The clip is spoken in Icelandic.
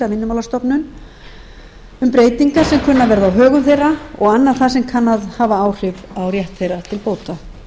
og annað það sem kann að hafa áhrif á rétt þeirra til bóta